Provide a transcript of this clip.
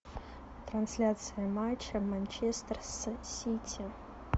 трансляция матча манчестер с сити